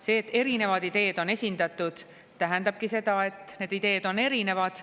See, et erinevad ideed on esindatud, tähendabki seda, et need ideed on erinevad.